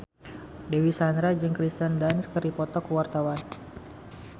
Dewi Sandra jeung Kirsten Dunst keur dipoto ku wartawan